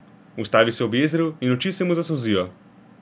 Ustavi se ob jezeru in oči se mu zasolzijo.